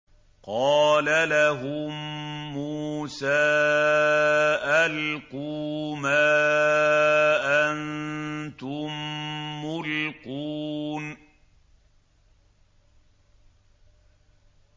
قَالَ لَهُم مُّوسَىٰ أَلْقُوا مَا أَنتُم مُّلْقُونَ